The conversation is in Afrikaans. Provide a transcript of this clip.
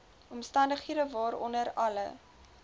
omstandighede waaronder alle